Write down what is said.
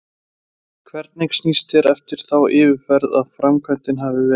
Hvernig sýnist þér eftir þá yfirferð að framkvæmdin hafi verið?